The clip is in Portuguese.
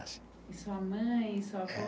E sua mãe e sua avó?